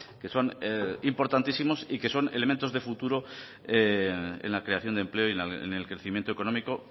que son importantísimos y que son elementos de futuro en la creación de empleo y en el crecimiento económico